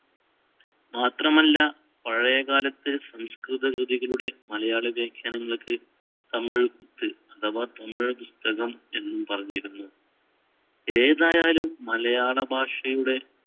മാത്രമല്ല പഴയകാലത്ത് സംസ്‌കൃതകൃതികളുടെ മലയാളവ്യാഖ്യാനങ്ങൾക്ക് തമിഴ് കുത്ത് അഥവാ തമിഴ് പുസ്‌തകമെന്നും പറഞ്ഞിരുന്നു. ഏതായാലും മലയാളഭാഷയുടെ